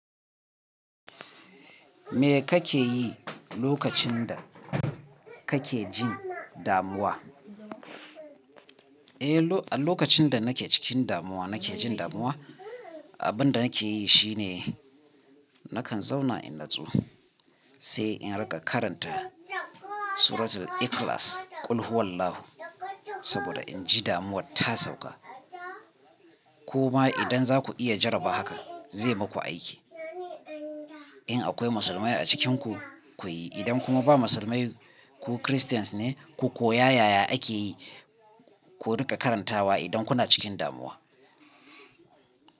Me kake yi lokacin da kake jin damuwa? Eh, a lokacin da nake cikin damuwa, nake jin damuwa, abin da nake yi shine nakan zauna in natsu, sai in riƙa karanta Suratul Ikhlas "Qul Huwallahu", saboda in ji damuwar ta sauka. Kuma idan za ku iya jaraba haka zai muku aiki. In akwai musulmai a cikinku ku yi, idan kuma ba musulmai ku christians ne ku, ko yayaya ake yi, ku riƙa karantawa idan kuna cikin damuwa.